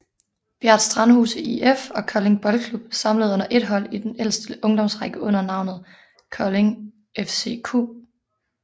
Bjært Strandhuse IF og Kolding Boldklub samlet som ét hold i den ældste ungdomsrække under navnet Kolding FCQ